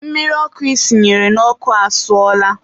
mmiri ọkụ i sinyere n'ọkụ asụọla.